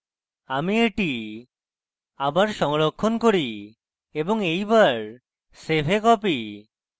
আমি এটি আবার সংরক্ষণ করি এবং এইবার save a copy